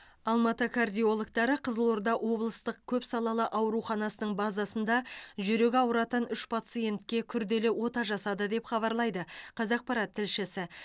алматы кардиологтары қызылорда облыстық көпсалалы ауруханасының базасында жүрегі ауыратын үш пациентке күрделі ота жасады деп хабарлайды қазақпарат тілшісі